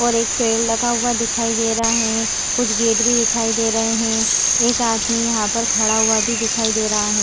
और एक पेड़ लगा हुआ दिखाई दे रहा है कुछ गेट भी दिखाई दे रहे हैं एक आदमी यहां पर खड़ा हुआ भी दिखाई दे रहा है।